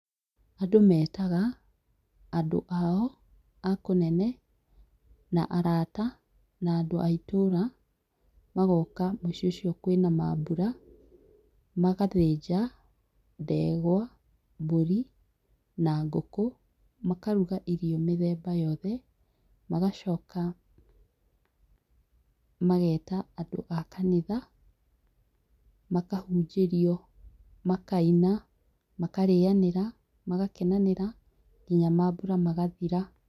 Andũ metaga andũ ao akũnene na arata na andũ aitũra magoka mũciĩ ũcio kwĩna mabura magathĩnja ndegwa, mbũri, na ngũkũ makaruga irio mĩthemba yothe magacoka mageta andũ akanitha ,makahũjĩrio, makaina makarĩanĩra magakenanĩra, nginya mabura magathira.